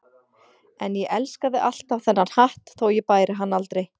En ég elskaði alltaf þennan hatt þótt ég bæri hann aldrei.